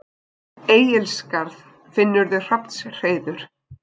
Egilsskarð, finnurðu hrafnshreiður.